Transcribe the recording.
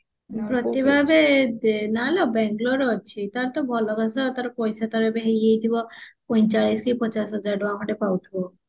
ପ୍ରତିଭା ଏବେ ନା ଲୋ ବାଙ୍ଗାଲୋରେ ଅଛି ତାର ତ ଭଲ ପଇସା ଏବେ ତାର ହେଇଯାଇଥିବ ପଇଁଚାଳିଶି କି ପଚାଶ ହଜାର ଟଙ୍କା ଖଣ୍ଡେ ପାଉଥିବ